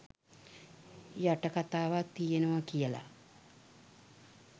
යට කතාවක් තියෙනව කියල